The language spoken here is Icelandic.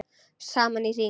Saman í hring